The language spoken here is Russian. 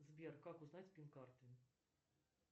сбер как узнать пин карты